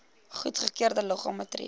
goedgekeurde liggame tree